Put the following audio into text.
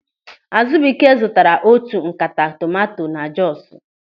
Azụbụike zụtara otu ńkata tomanto na Jọsu.